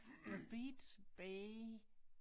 The beats bay